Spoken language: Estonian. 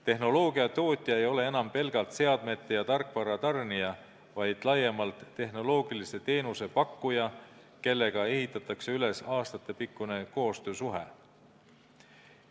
Tehnoloogia tootja ei ole enam pelgalt seadmete ja tarkvara tarnija, vaid laiemalt tehnoloogilise teenuse pakkuja, kellega ehitatakse üles aastatepikkune koostöösuhe.